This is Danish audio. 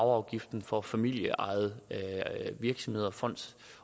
og arveafgiften for familieejede virksomheder og fonde